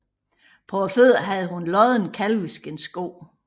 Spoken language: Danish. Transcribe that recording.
På fødderne havde hun lodne kalveskindssko